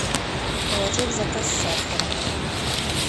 положи в заказ сахара